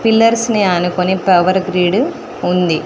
Pillars ని ఆనుకొని power grid ఉంది.